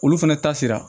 Olu fɛnɛ ta sera